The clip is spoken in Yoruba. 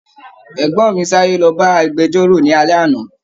Ẹgbọn mí sáré l'ọba agbẹ̀jọ́ro ni alẹ́ àná.